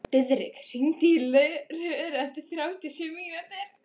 Diðrik, hringdu í Löru eftir þrjátíu og sjö mínútur.